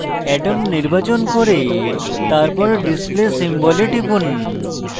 atoms নির্বাচন করে তারপর display symbol এ টিপুন